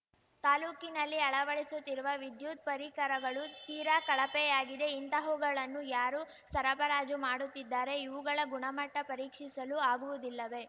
ತಾಲೂಕಿನಲ್ಲಿ ಅಳವಡಿಸುತ್ತಿರುವ ವಿದ್ಯುತ್‌ ಪರಿಕರಗಳು ತೀರಾ ಕಳಪೆಯಾಗಿದೆ ಇಂತಹವುಗಳನ್ನು ಯಾರು ಸರಬರಾಜು ಮಾಡುತ್ತಿದ್ದಾರೆ ಇವುಗಳ ಗುಣಮಟ್ಟಪರೀಕ್ಷಿಸಲು ಆಗುವುದಿಲ್ಲವೆ